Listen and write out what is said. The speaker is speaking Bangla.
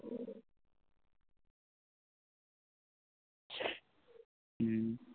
হম